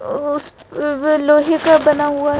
अअ उस अ व्व लोहे का बना हुआ--